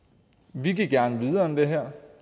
vi gik gerne videre end det her